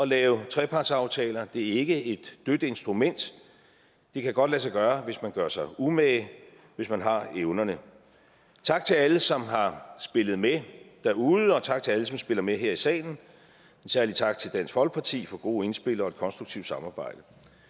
lave trepartsaftaler det er ikke et dødt instrument det kan godt lade sig gøre hvis man gør sig umage hvis man har evnerne tak til alle som har spillet med derude og tak til alle som spiller med her i salen en særlig tak til dansk folkeparti for gode indspil og et konstruktivt samarbejde